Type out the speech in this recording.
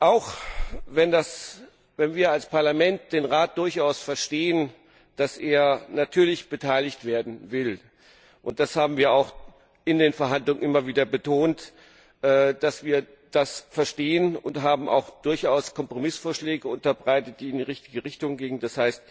Auch wenn wir als Parlament durchaus verstehen, dass der Rat natürlich beteiligt werden will und das haben wir auch in den Verhandlungen immer wieder betont, dass wir das verstehen, und haben auch durchaus Kompromissvorschläge unterbreitet, die in die richtige Richtung gingen, d.